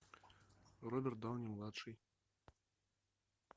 роберт дауни младший